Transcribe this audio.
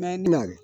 Mɛ